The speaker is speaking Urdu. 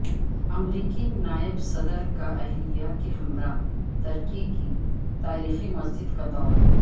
امریکی نائب صدر کااہلیہ کےہمراہ ترکی کی تاریخی مسجدکا دور